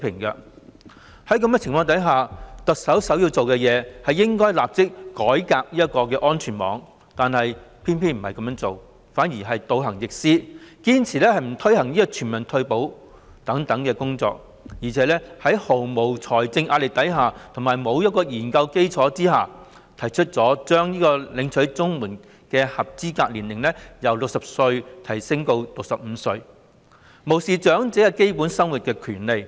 在這種情況下，特首首要做到的，是立即改革安全網，但她卻偏偏倒行逆施，堅持不推行全民退保等工作，而且在毫無財政壓力和研究基礎下，把領取長者綜援的合資格年齡由60歲提高至65歲，無視長者享有基本生活的權利。